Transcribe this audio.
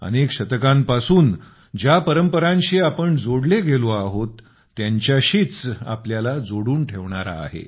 अनेक शतकांपासून ज्या परंपरांशी आपण जोडले गेलो आहोत त्यांच्याशीच आपल्याला जोडून ठेवणारा आहे